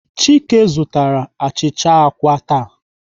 Chike zụtara achịcha àkwá taa.